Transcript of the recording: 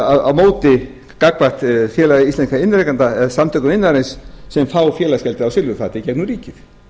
á móti gagnvart félagi íslenskra iðnrekenda eða samtökum iðnaðarins sem fá félagsgjaldið á silfurfati gegnum ríkið